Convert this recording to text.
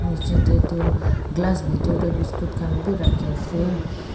niji dae tu glass bidor dae biscuit kan b raki ase.